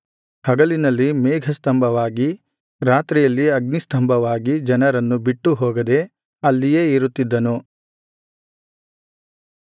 ಹಗಲಿನಲ್ಲಿ ಮೇಘಸ್ತಂಭವಾಗಿ ರಾತ್ರಿಯಲ್ಲಿ ಅಗ್ನಿಸ್ತಂಭವಾಗಿ ಜನರನ್ನು ಬಿಟ್ಟು ಹೋಗದೆ ಅಲ್ಲಿಯೇ ಇರುತ್ತಿದ್ದನು